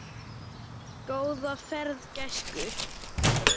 Góða ferð, gæskur.